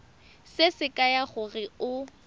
se se kaya gore o